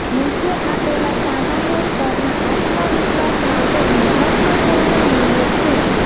નીચે આપેલા સામાન્ય સ્તરના આત્મવિશ્વાસ માટે મહત્વપૂર્ણ મૂલ્યો છે